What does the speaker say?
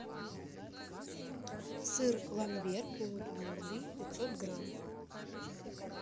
сыр ламбер полутвердый пятьсот грамм